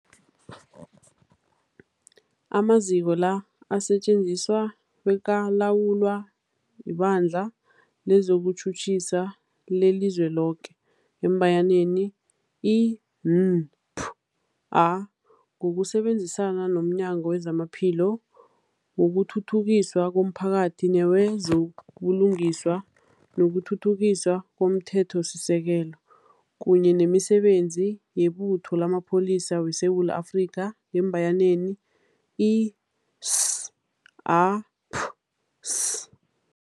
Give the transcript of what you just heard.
Amaziko la asetjenziswa bekalawulwa liBandla lezokuTjhutjhisa leliZweloke, i-NPA, ngokusebenzisana nomnyango wezamaPhilo, wokuthuthukiswa komphakathi newezo buLungiswa nokuThuthukiswa komThethosisekelo, kunye nemiSebenzi yeButho lamaPholisa weSewula Afrika, i-SAPS.